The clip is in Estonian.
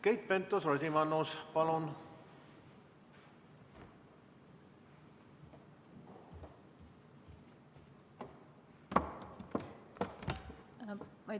Keit Pentus-Rosimannus, palun!